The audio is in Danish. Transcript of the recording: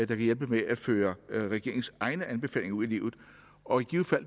kan hjælpe med at føre regeringens egne anbefalinger ud i livet og i